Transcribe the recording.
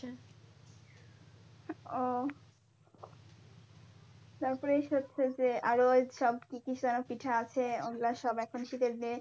ও তারপরে হচ্ছে যে আরো সব কি কি যেন পিঠা আছে ওগুলা সব এখন শীতের বেশ,